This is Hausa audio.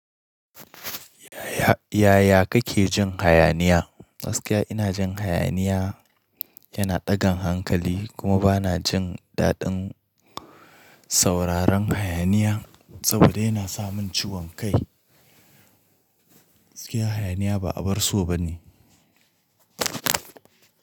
Yaya kake jin hayaniya? Gaskiya ina jin hayaniya yana ɗagan hankali kuma bana jin daɗin sauraron hayaniya saboda yana sa mun ciwon kai. Gaskiya hayaniya ba abar so bane.